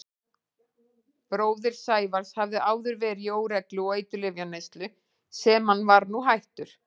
Bróðir Sævars hafði áður verið í óreglu og eiturlyfjaneyslu sem hann var nú hættur.